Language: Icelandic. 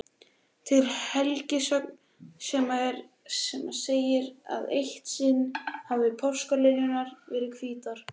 Til er helgisögn sem segir að eitt sinn hafi páskaliljurnar verið hvítar.